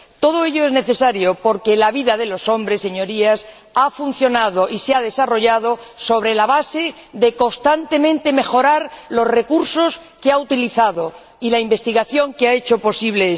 Todo ello es necesario, porque la vida de los hombres, Señorías, ha funcionado y se ha desarrollado sobre la base de mejorar constantemente los recursos que ha utilizado y la investigación que lo ha hecho posible.